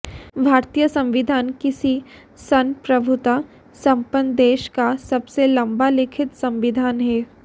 भारतीय संविधान किसी संप्रभुता संपन्न देश का सबसे लंबा लिखित संविधान है